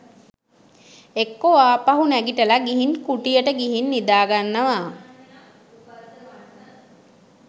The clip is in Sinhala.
එක්කො ආපහු නැගිටල ගිහින් කුටියට ගිහින් නිදාගන්නව